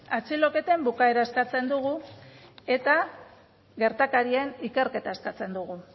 atxiloketen bukaera eskatzen dugu eta gertakarien ikerketa eskatzen dugu